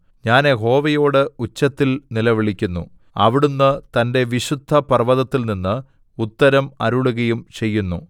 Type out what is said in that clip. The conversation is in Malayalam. ഞാൻ യഹോവയോട് ഉച്ചത്തിൽ നിലവിളിക്കുന്നു അവിടുന്ന് തന്റെ വിശുദ്ധപർവ്വതത്തിൽനിന്ന് ഉത്തരം അരുളുകയും ചെയ്യുന്നു സേലാ